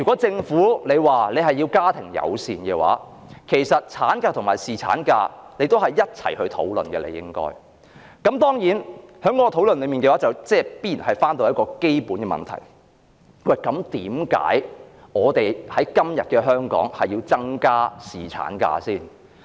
政府若要鼓吹家庭友善政策，便應就產假和侍產假作出一併的討論，而在討論過程中必然會觸及那基本問題：為甚麼香港要在今天增加侍產假？